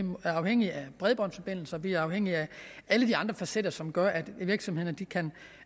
er afhængige af bredbåndsforbindelser vi er afhængige af alle de andre facetter som gør at virksomhederne kan